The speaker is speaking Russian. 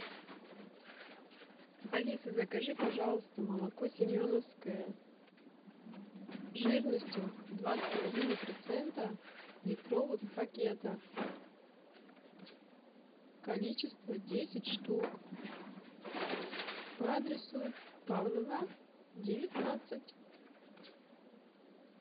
алиса закажи пожалуйста молоко семеновское жирностью два с половиной процента в литровых пакетах количество десять штук по адресу павлова девятнадцать